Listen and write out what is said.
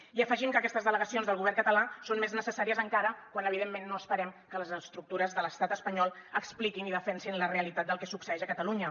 i afegim que aquestes delegacions del govern català són més necessàries encara quan evidentment no esperem que les estructures de l’estat espanyol expliquin i defensin la realitat del que succeeix a catalunya